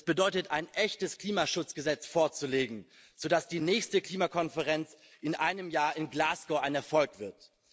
Das bedeutet, ein echtes Klimaschutzgesetz vorzulegen, sodass die nächste Klimakonferenz in einem Jahr in Glasgow ein Erfolg wird.